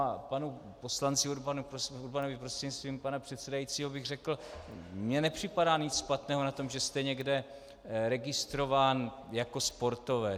A panu poslanci Urbanovi, prostřednictvím pana předsedajícího, bych řekl: Mně nepřipadá nic špatného na tom, že jste někde registrován jako sportovec.